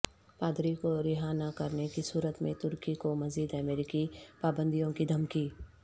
پادری کو رہا نہ کرنے کی صورت میں ترکی کو مزید امریکی پابندیوں کی دھمکی